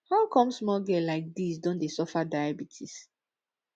how come small girl like dis don dey suffer diabetes